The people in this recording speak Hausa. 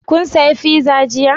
Kun saya fiza jiya?